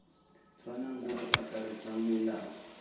tshwanang bo bo akaretsang melao